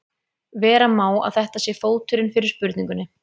Vera má að þetta sé fóturinn fyrir spurningunni.